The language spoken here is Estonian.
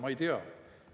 Ma ei tea.